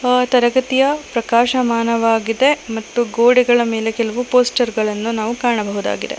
ಆ ತರಗತಿಯ ಪ್ರಕಾಶಮಾನವಾಗಿದೆ ಮತ್ತು ಗೋಡೆಗಳ ಮೇಲೆ ಕೆಲವು ಪೋಸ್ಟರ್ ಗಳನ್ನು ನಾವು ಕಾಣಬಹುದಾಗಿದೆ.